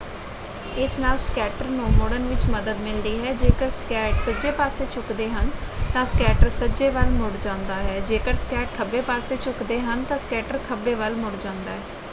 ਇਸ ਨਾਲ ਸਕੇਟਰ ਨੂੰ ਮੁੜਨ ਵਿੱਚ ਮਦਦ ਮਿਲਦੀ ਹੈ। ਜੇਕਰ ਸਕੇਟ ਸੱਜੇ ਪਾਸੇ ਝੁਕਦੇ ਹਨ ਤਾਂ ਸਕੇਟਰ ਸੱਜੇ ਵੱਲ ਮੁੜ ਜਾਂਦਾ ਹੈ ਜੇਕਰ ਸਕੇਟ ਖੱਬੇ ਪੱਸੇ ਝੁਕਦੇ ਹਨ ਤਾਂ ਸਕੇਟਰ ਖੱਬੇ ਵੱਲ ਮੁੜ ਜਾਂਦਾ ਹੈ।